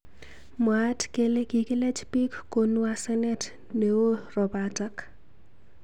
Mwaat kele kikilech bik konu asenet neo robatak.